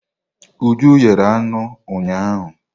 Uju yere anụ ụnyahụ.